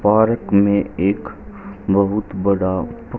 park में एक बहुत बड़ा--